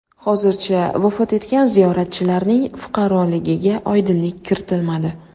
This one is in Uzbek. Hozircha vafot etgan ziyoratchilarning fuqaroligiga oydinlik kiritilmadi.